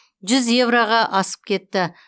жүз еуроға асып кетті